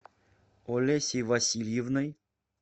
олесей васильевной